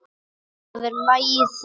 Það er lagið þitt.